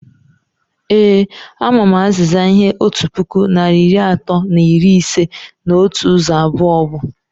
Eee,a ma m azịza ihe otu puku narị iri atọ na iri ise na otu ụzọ abụọ bu